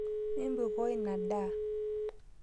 Mimpukoo inia daa